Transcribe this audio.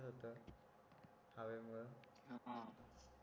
हां